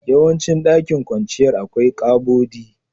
Yawancin dakin kwanciyar, akwai ƙabodi.